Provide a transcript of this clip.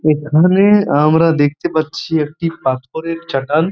এখানে আমরা দেখতে পাচ্ছি একটি পাথরের চাটান ।